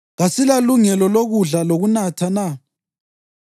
Kasilalungelo lokudla lokunatha na?